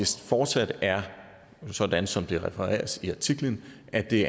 fortsat er sådan som det refereres i artiklen at det